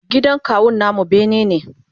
gidan kawun namu bene ne